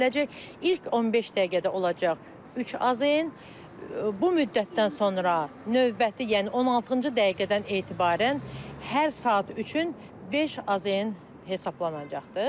İlk 15 dəqiqədə olacaq 3 AZN, bu müddətdən sonra növbəti, yəni 16-cı dəqiqədən etibarən hər saat üçün 5 AZN hesablanacaqdır.